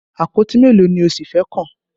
Àpótí mélòó ni o ṣì fẹ́ kàn?